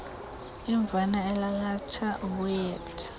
imvana elalatha ubuethe